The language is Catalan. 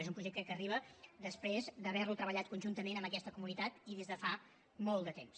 és un projecte que arriba després d’haver lo treballat conjuntament amb aquesta comunitat i des de fa molt de temps